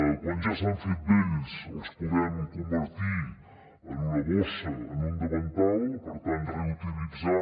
quan ja s’han fet vells els podem convertir en una bossa en un davantal per tant reutilitzar